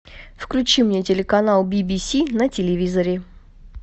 включи мне телеканал би би си на телевизоре